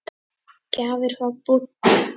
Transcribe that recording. Gjafir frá Búddu.